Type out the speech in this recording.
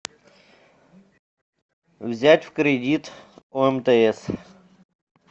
взять в кредит у мтс